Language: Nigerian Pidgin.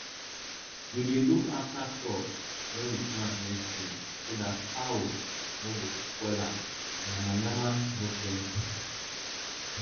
we dey look after crops wey we plant near stream so that cows no go spoil am and yamayama no plenty